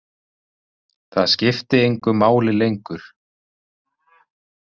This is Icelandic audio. Það skipti engu máli lengur.